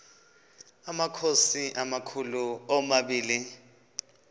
amakhosi amakhulu omabini